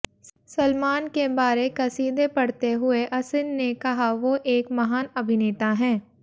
सलमान के बारे कसीदे पढ़ते हुए असिन ने कहा वो एक महान अभिनेता हैं